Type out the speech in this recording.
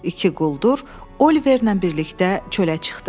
İki quldur Oliverlə birlikdə çölə çıxdı.